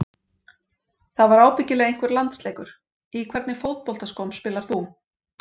Það var ábyggilega einhver landsleikur Í hvernig fótboltaskóm spilar þú?